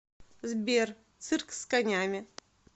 сбер цирк с конями